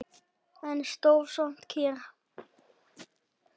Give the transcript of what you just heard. En stóð samt kyrr.